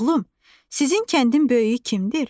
Oğlum, sizin kəndin böyüyü kimdir?